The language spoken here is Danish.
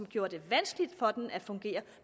gjorde det vanskeligt for den at fungere